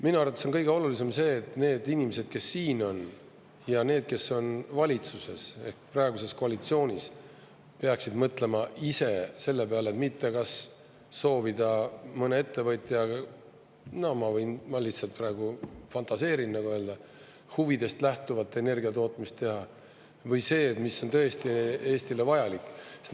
Minu arvates on kõige olulisem see, et need inimesed, kes siin on, ja need, kes on valitsuses ehk praeguses koalitsioonis, peaksid mõtlema ise selle peale, kas soovida mõne ettevõtja – ma lihtsalt praegu fantaseerin – huvidest lähtuvat energia tootmist teha või see, mis on tõesti Eestile vajalik.